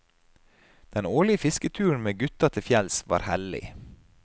Den årlige fisketuren med gutta til fjells var hellig.